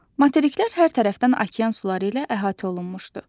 Materiklər hər tərəfdən okean suları ilə əhatə olunmuşdu.